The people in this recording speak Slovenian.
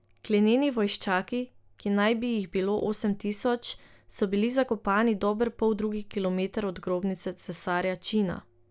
Glineni vojščaki, ki naj bi jih bilo osem tisoč, so bili zakopani dober poldrugi kilometer od grobnice cesarja Čina.